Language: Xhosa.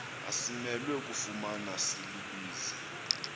asimelwe kufumana silibize